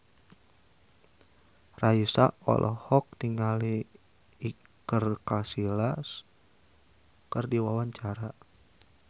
Raisa olohok ningali Iker Casillas keur diwawancara